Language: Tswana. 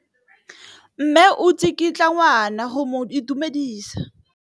Mme o tsikitla ngwana go mo itumedisa.